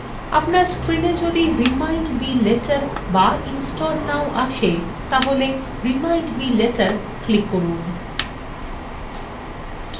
আপনার screena যদি remind me later বা install now আসে তাহলে remind me later click করুন